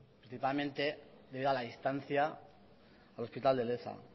principalmente debido a la distancia al hospital de leza